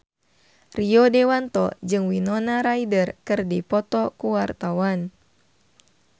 Rio Dewanto jeung Winona Ryder keur dipoto ku wartawan